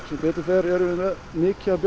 sem betu fer erum við með mikið af